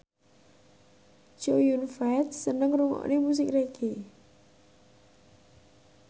Chow Yun Fat seneng ngrungokne musik reggae